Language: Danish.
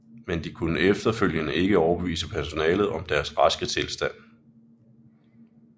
Men de kunne efterfølgende ikke overbevise personalet om deres raske tilstand